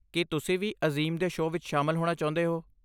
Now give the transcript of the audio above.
ਕੀ ਤੁਸੀਂ ਵੀ ਅਜ਼ੀਮ ਦੇ ਸ਼ੋਅ ਵਿੱਚ ਸ਼ਾਮਲ ਹੋਣਾ ਚਾਹੁੰਦੇ ਹੋ?